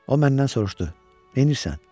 O məndən soruşdu: Neynirsən?